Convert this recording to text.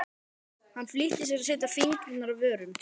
Hann flýtti sér að setja fingur að vörum.